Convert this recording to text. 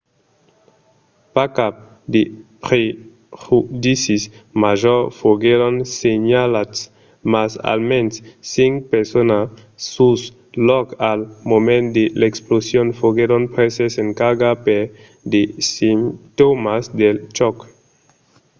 pas cap de prejudicis majors foguèron senhalats mas almens cinc personas sul lòc al moment de l'explosion foguèron preses en carga per de simptòmas del chòc